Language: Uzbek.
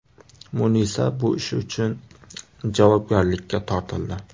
Munisa bu ishi uchun javobgarlikka tortildi.